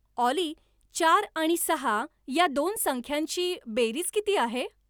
ऑली चार आणि सहा या दोन संख्यांची बेरीज किती आहे